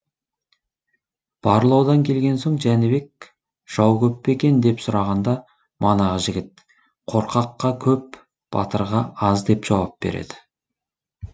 барлаудан келген соң жәнібек жау көп пе екен деп сұрағанда манағы жігіт қорқаққа көп батырға аз деп жауап береді